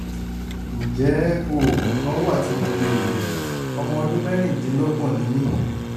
ǹjẹ́ oògùn kan wà tí mo lè lò? ọmọ ọdún mẹ́rìndínlọ́gbọ̀n ni mí